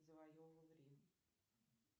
завоевывал рим